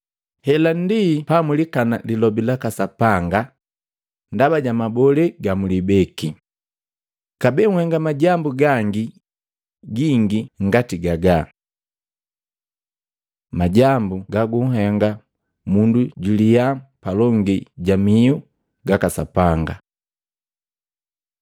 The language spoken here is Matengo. Hela ndi pamwilikana Lilobi laka Sapanga ndaba ja mabolee gamulibeki. Kabee nhenga majambu gangi gingi ngati gagaga.” Majambu gaguhenga mundu jwiiliya palongi ja mihu gaka Sapanga Matei 15:10-20